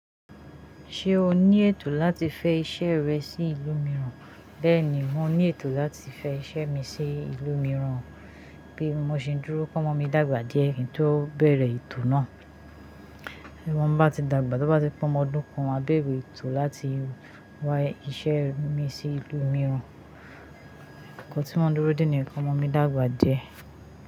Ṣé o ní ètò láti fẹ iṣẹ́ rẹ sí ìlú mìíràn? Bẹ́ẹ̀ni, mo ní ètò láti fẹ iṣẹ́ mi sí ìlú mìíràn, bí mo ṣe ń dúró kí ọmọ mi dàgbà díẹ̀ kí n tó bẹ̀rẹ̀ ètò náà. Tí ọmọ bá ti dàgbà, tó bá ti pe omọ ọdún kan, maa bẹ̀re ètò láti wá iṣẹ́ mi sí ìlú mìíràn. Ǹkan tí mo ń dúró dè ní ki ọmọ mi dàgbà díẹ̀